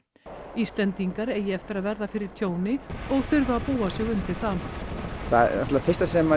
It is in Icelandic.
Íslendingar eigi eftir að verða fyrir tjóni og þurfi að búa sig undir það það náttúrulega fyrsta sem að